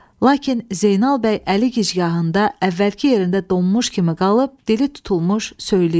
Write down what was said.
Lakin Zeynal bəy əli gicgahında əvvəlki yerində donmuş kimi qalıb, dili tutulmuş söyləyirdi.